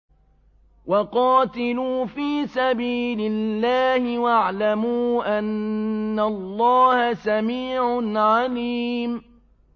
وَقَاتِلُوا فِي سَبِيلِ اللَّهِ وَاعْلَمُوا أَنَّ اللَّهَ سَمِيعٌ عَلِيمٌ